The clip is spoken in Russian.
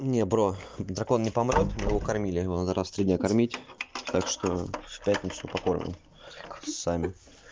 не бро дракон не поможет его кормили его надо раз в три дня кормить так что в пятницу покормим сами